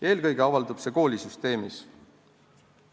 Eelkõige avaldub see koolisüsteemis.